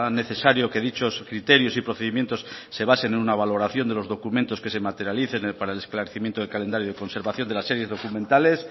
necesario que dichos criterios y procedimientos se basen en una valoración de los documentos que se materialicen para el esclarecimiento del calendario de conservación de las series documentales